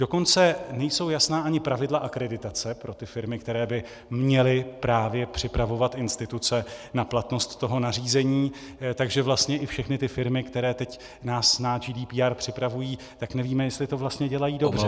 Dokonce nejsou jasná ani pravidla akreditace pro ty firmy, které by měly právě připravovat instituce na platnost toho nařízení, takže vlastně i všechny ty firmy, které nás teď na GDPR připravují, tak nevíme, jestli to vlastně dělají dobře.